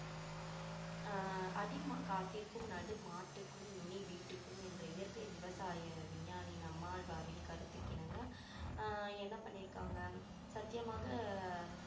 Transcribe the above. ஆஹ் அடி காட்டிற்கும் நடு மாட்டுக்கும் நுனி வீட்டுக்கும் என்ற இயற்கை விவசாய விஞ்ஞானி நம்மாழ்வாரின் கருத்துக்கிணங்க ஆஹ் என்ன பண்ணிருக்காங்க சத்தியமாக